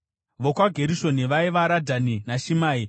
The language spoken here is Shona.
VokwaGerishoni vaiva: Radhani naShimei.